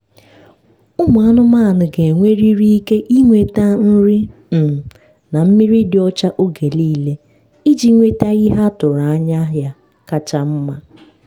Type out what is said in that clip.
ụmụ anụmanụ ga-enwerịrị ike ịnweta nri um na mmiri dị ọcha oge niile iji nwete ihe atụrụ anya ya kacha mma.